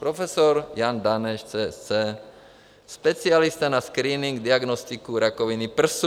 Profesor Jan Daneš, CSc., specialista na screening, diagnostiku rakoviny prsu.